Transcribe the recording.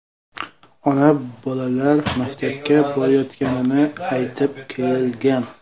Ona bolalar maktabga borayotganini aytib kelgan.